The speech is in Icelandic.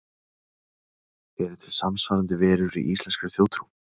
Eru til samsvarandi verur í íslenskri þjóðtrú?